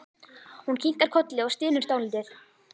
Hún kinkar kolli og stynur dálítið.